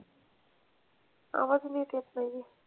आवाज नीट येत नाही आहे.